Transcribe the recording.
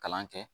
Kalan kɛ